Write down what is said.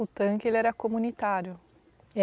O tanque era comunitário?